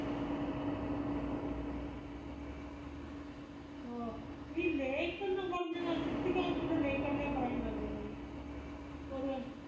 ആഹ് ഈ lake ന്ന് പറഞ്ഞത് ആ അകത്തുള്ള lake അല്ലെ പറയുന്നത് നീ ഒറേ